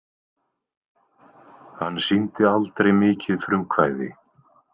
Hann sýndi aldrei mikið frumkvæði.